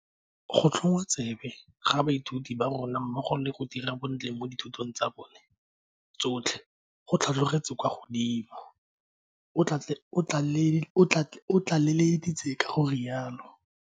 Go tlhwoya tsebe ga baithuti ba rona mmogo le go dira bontle mo dithutong tsa bona tsotlhe go tlhatlhogetse kwa godimo, o tlaleleditse ka go rialo.